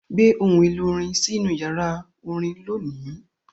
Gbé ohun èlò orin sínú yàrá orin lónìí!